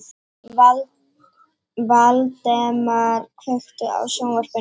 Valdemar, kveiktu á sjónvarpinu.